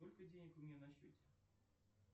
сколько денег у меня на счете